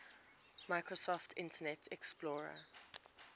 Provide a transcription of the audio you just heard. microsoft internet explorer